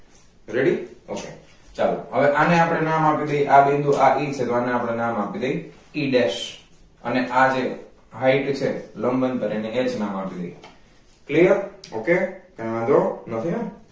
ready ok ચાલો હવે આને આપણે નામ આપી દઈએ આ બિંદુ e છે તો આને આપણે નામ આપી દઈએ e desh અને આ જે height છે લંબ અંતર એને h નામ આપી દઈએ clear ok નથી ને